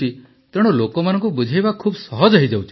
ତେଣୁ ଲୋକମାନଙ୍କୁ ବୁଝାଇବା ଖୁବ ସହଜ ହେଇଯାଉଛି